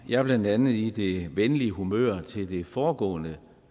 jeg blandt andet i det venlige humør ved det foregående